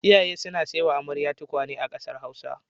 Iyaye suna saiwa amare tukwane a ƙasar Hausa.